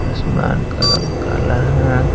आसमान का रंग काला है।